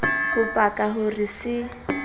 ho paka ho re se